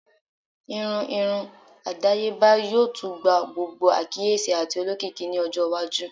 Irun irun adayeba yoo tun gba gbogbo akiyesi ati olokiki ni ọjọ iwaju